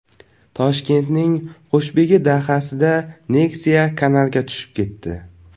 Toshkentning Qushbegi dahasida Nexia kanalga tushib ketdi .